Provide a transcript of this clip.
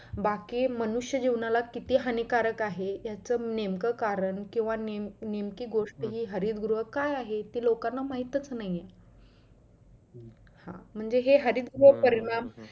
बाकी मनुष्य जीवनाला किती हानिकारक आहे याच नेमकं कारण किंवा नेम नेमकी गोष्ट हि हरित गृह काय आहे ते लोकांना माहीतच नाही म्हणजे हे हरित गृह